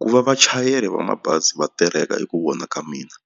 Ku va vachayeri va mabazi va tereka hi ku vona ka mina